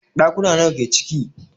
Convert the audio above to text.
Ɗakuna nawa ke ciki?